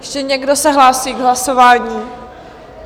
Ještě někdo se hlásí k hlasování?